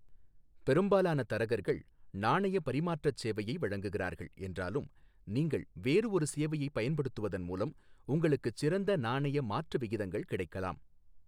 பெரும்பாலான தரகர்கள் நாணய பரிமாற்றச் சேவையை வழங்குகிறார்கள் என்றாலும் நீங்கள் வேறு ஒரு சேவையைப் பயன்படுத்துவதன் மூலம் உங்களுக்குச் சிறந்த நாணய மாற்று விகிதங்கள் கிடைக்கலாம்.